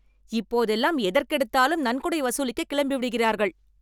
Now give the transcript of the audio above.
இப்போது எல்லாம் எதற்கு எடுத்தாலும் நன்கொடை வசூலிக்க கிளம்பிவிடுகிறார்கள்.